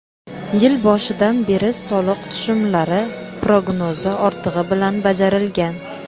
Yil boshidan beri soliq tushumlari prognozi ortig‘i bilan bajarilgan.